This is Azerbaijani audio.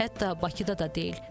Hətta Bakıda da deyil.